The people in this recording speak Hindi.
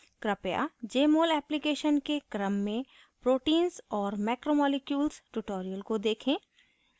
कृपया jmol application के क्रम में proteins और macromolecules tutorial को देखें